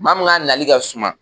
Maa min ka nali ka suma